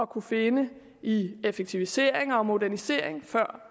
kunne finde i effektiviseringer og modernisering før